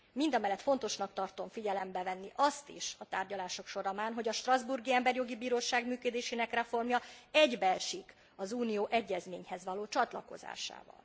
Mindamellett fontosnak tartom figyelembe venni azt is a tárgyalások folyamán, hogy a strasbourgi Emberi Jogi Bíróság működésének reformja egybeesik az Unió egyezményhez való csatlakozásával.